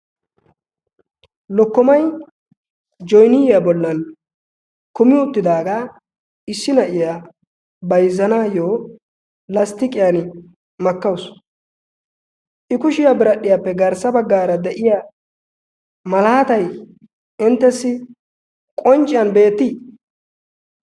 lokkomai joniyyaa bollan kumi uttidaagaa issi na7iyaa baizanaayyo lasttiqiyan makkawusu. i kushiyaa biradhdhiyaappe garssa baggaara de7iya malaatai inttessi qoncciyan beettii?